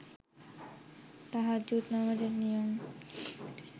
তাহাজ্জুদ নামাজের নিয়ম